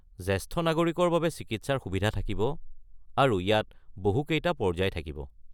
জেষ্ঠ নাগৰিকৰ বাবে চিকিৎসাৰ সুবিধা থাকিব আৰু ইয়াত বহু কেইটা পৰ্য্যায় থাকিব।